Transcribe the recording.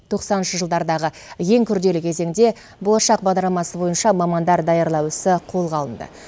тоқсаныншы жылдардағы ең күрделі кезеңде болашақ бағдарламасы бойынша мамандар даярлау ісі қолға алынды